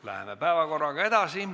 Läheme päevakorraga edasi.